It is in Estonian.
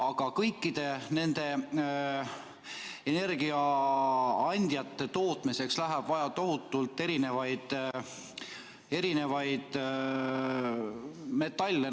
Aga kõikide nende energiaandjate tootmiseks läheb vaja tohutult erinevaid metalle.